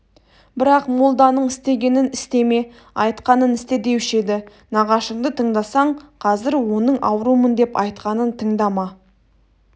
бірақ молданың істегенін істеме айтқанын істе деуші еді нағашыңды тыңдасаң қазір оның аурумын деп айтқанын тыңдама